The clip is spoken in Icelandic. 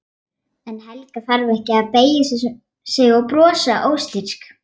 En Helga þarf ekki að beygja sig og brosa óstyrk.